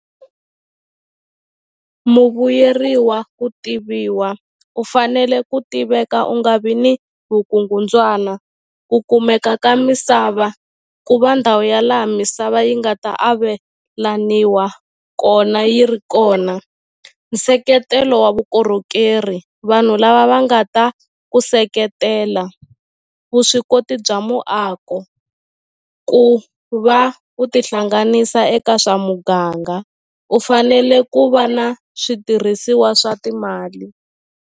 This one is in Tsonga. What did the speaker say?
Muvuyeriwa ku tiviwa u fanele ku tiveka u nga vi ni vukungundzwana ku kumeka ka misava ku va ndhawu ya laha misava yi nga ta avelaniwa kona yi ri kona nseketelo wa vukorhokeri vanhu lava va nga ta ku seketela vuswikoti bya muako ku va u ti hlanganisa eka swa muganga u fanele ku va na switirhisiwa swa timali.